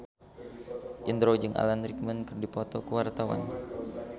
Indro jeung Alan Rickman keur dipoto ku wartawan